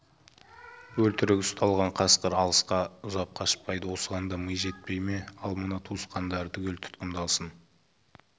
бөлтірігі ұсталған қасқыр алысқа ұзап қашпайды осыған да ми жетпей ме ал мына туысқандары түгел тұтқындалсын